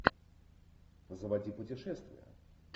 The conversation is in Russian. заводи путешествия